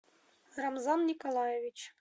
рамзан николаевич